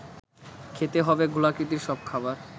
খেতে হবে গোলাকৃতির সব খাবার